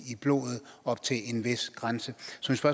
blodet op til en vis grænse så